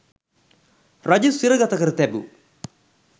රජු සිරගත කර තැබූ